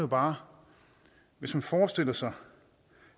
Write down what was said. bare hvis man forestiller sig